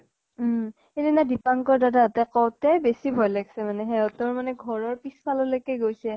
উম। সিদিনা দিপাঙ্কৰ দাদা হতে কওঁতে বেছি ভয় লাগ্ছে মানে। সিহঁতৰ মানে ঘৰৰ পিছ ফাললৈকে গৈছে।